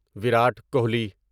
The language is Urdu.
ویرات کوہلی